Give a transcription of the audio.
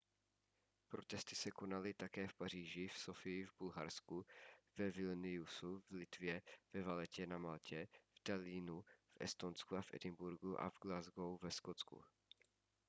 protesty se konaly také v paříži v sofii v bulharsku ve vilniusu v litvě ve valettě na maltě v tallinnu v estonsku a v edinburghu a v glasgow ve skotsku